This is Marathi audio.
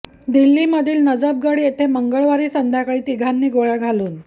दिल्लीमधील नजफगढ येथे मंगळवारी संध्याकाळी तिघांनी गोळ्या घालून